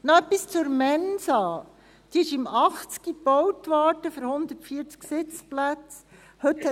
Noch etwas zur Mensa: Sie wurde 1980 für 140 Sitzplätze gebaut.